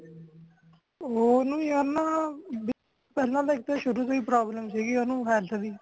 ਓਹਨੂੰ ਯਾਰ ਨਾ ,ਪਹਿਲਾ ਇਕ ਤੇ ਸ਼ੁਰੂ ਤੋਂ ਹੀ problem ਸੀਗੀ ਭਾਈ ਓਨੁ health ਦੀ